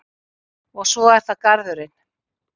Og svo er það garðurinn.